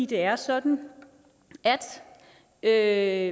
det er sådan at